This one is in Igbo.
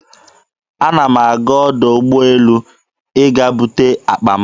Ana m aga ọdọ ụgbọelu ịga bute akpa m.